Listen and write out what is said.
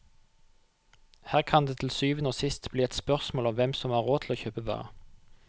Her kan det til syvende og sist bli et spørsmål om hvem som har råd til å kjøpe hva.